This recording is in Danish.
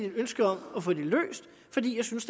et ønske om at få det løst fordi jeg synes